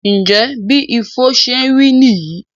Njẹ bí Ifo ṣé rí níyì?